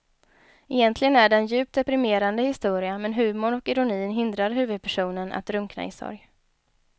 Egentligen är det en djupt deprimerande historia men humorn och ironin hindrar huvudpersonen att drunkna i sorg.